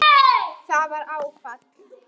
Það var áfall.